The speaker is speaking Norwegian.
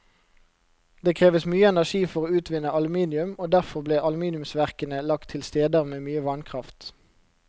Det kreves mye energi for å utvinne aluminium, og derfor ble aluminiumsverkene lagt til steder med mye vannkraft.